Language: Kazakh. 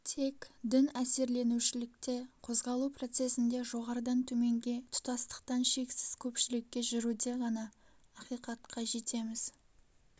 тек дін әсерленушілікте қозғалу процесінде жоғарыдан төменге тұтастықтан шексіз көпшілікке жүруде ғана ақиқатка жетеміз